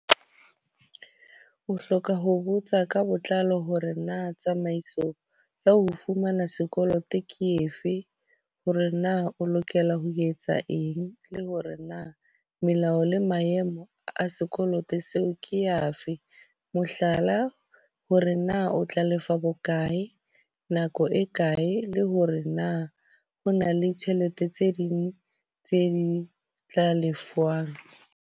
O hloka ho botsa ka botlalo hore na tsamaiso ya ho fumana sekoloto ke efe. Hore na o lokela ho etsa eng, le hore na melao le maemo a sekoloto seo ke afe. Mohlala, hore na o tla lefa bokae nako e kae, le hore na ho na le tjhelete tse ding tse di tla lefuwang.